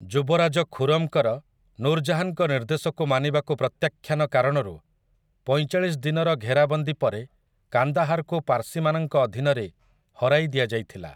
ଯୁବରାଜ ଖୁରମ୍‌ଙ୍କର, ନୁର୍ ଜାହାନ୍‌ଙ୍କ ନିର୍ଦ୍ଦେଶକୁ ମାନିବାକୁ ପ୍ରତ୍ୟାଖ୍ୟାନ କାରଣରୁ, ପଇଁଚାଳିଶ ଦିନର ଘେରାବନ୍ଦୀ ପରେ କାନ୍ଦାହାରକୁ ପାର୍ସୀମାନଙ୍କ ଅଧୀନରେ ହରାଇଦିଆଯାଇଥିଲା ।